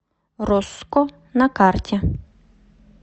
росско на карте